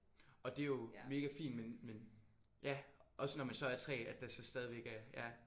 Og det er jo mega fint men men ja også når man så er 3 at der så stadigvæk er ja